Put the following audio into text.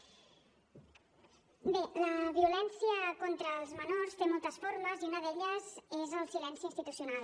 bé la violència contra els menors té moltes formes i una d’elles és el silenci institucional